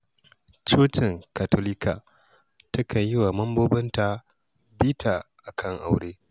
Cocin Katolika takan yi wa mambobinta bita a kan aure.